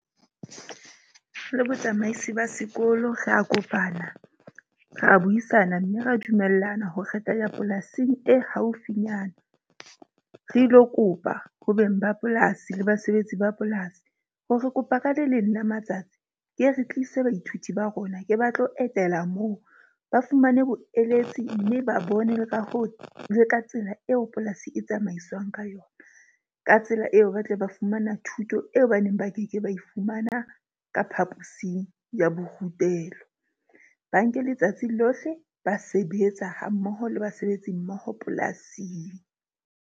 Le botsamaisi ba sekolo, ra kopana, ra buisana mme ra dumellana ho kgetha ya polasing e haufinyana. Re ilo kopa ho beng ba polasi le basebetsi ba polasi ho re kopa ka le leng la matsatsi ke re tlise baithuti ba rona. Ke batlo etela moo, ba fumane boeletsi mme ba bone le ka ho leka tsela eo polasi e tsamaiswang ka yona. Ka tsela eo ba tle ba fumana thuto eo ba neng ba keke ba e fumana ka phaposing ya borutelo. Ba nke letsatsi lohle. Ba sebetsa ha mmoho le basebetsi mmoho polasing.